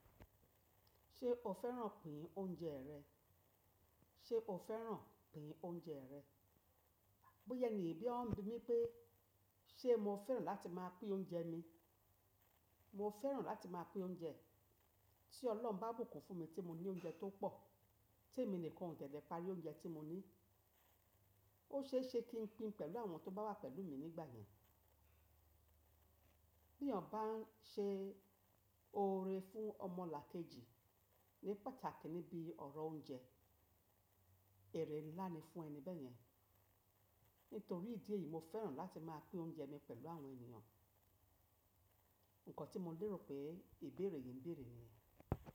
Ṣé o fẹ́ràn pín oúnjẹ rẹ? Ṣé o fẹ́ràn pín oúnjẹ rẹ? Bóyá won bí mi pé ṣe mo fẹ́ràn láti máa pín oúnjẹ mi, mo fẹ́ràn láti máa pín oúnjẹ. Tí Ọlọ́run bá bùkún fún mi tí mo ní oúnjẹ tó pọ̀, tí èmi nìkan ò ṣẹ̀dẹ̀ parí oúnjẹ tí mo ní, ó ṣe é ṣe kí n pín pẹ̀lú àwọn tó bá wà pẹ̀lú mi nígbà yẹn. Bí èèyàn bá n ṣe oore fún ọmọlàkejì ní pàtàkì níbi ọ̀rọ̀ oúnjẹ, èrè ńlá ni fún ẹni bẹ́yẹn. Nítorí ìdí èyí, mo fẹ́ràn láti máa pín oúnjẹ mi pẹ̀lú àwọn ènìyàn. Ǹkọ́ tí mo lérò pé ìbéèrè yìí ń béèrè ni yen.